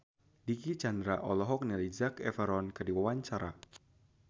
Dicky Chandra olohok ningali Zac Efron keur diwawancara